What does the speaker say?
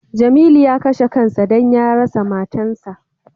Jamilu ya kashe kan sa don ya rasa matan sa.